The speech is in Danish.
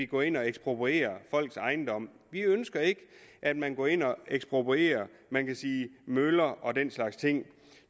går ind og eksproprierer folks ejendom vi ønsker ikke at man går ind og eksproprierer møller og den slags ting